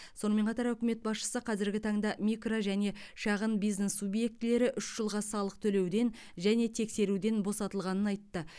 сонымен қатар үкімет басшысы қазіргі таңда микро және шағын бизнес субъектілері үш жылға салық төлеуден және тексеруден босатылғанын айтты